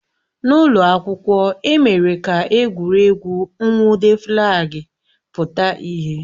N'ụlọ akwụkwọ, e mere ka egwuregwu nwude flaagi pụta ìhè